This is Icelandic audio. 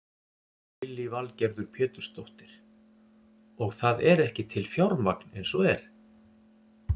Lillý Valgerður Pétursdóttir: Og það er ekki til fjármagn eins og er?